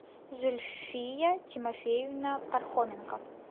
зульфия тимофеевна пархоменко